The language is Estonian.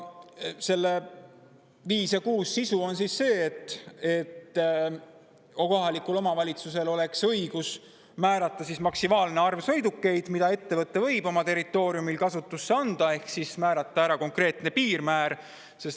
Nende punktid 5 ja 6 sisu on see, et kohalikul omavalitsusel oleks õigus määrata maksimaalne arv sõidukeid, mida ettevõte võib oma territooriumil kasutusse anda, ehk konkreetne piirmäär.